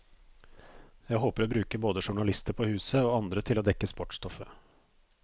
Jeg håper å bruke både journalister på huset, og andre til å dekke sportsstoffet.